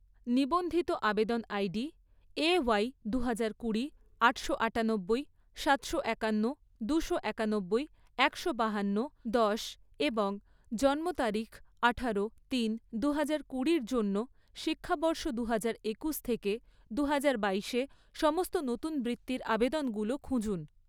নিবন্ধিত আবেদন ID A Y দুহাজার কুড়ি, আটশো আটানব্বই, সাতশো একান্ন, দুশো একানব্বই, একশো বাহান্ন, দশ এবং জন্ম তারিখ আঠারো তিন দুহাজার কুড়ি জন্য, শিক্ষাবর্ষ দুহাজার একুশ থেকে দুহাজার বাইশে সমস্ত নতুন বৃত্তির আবেদনগুলো খুঁজুন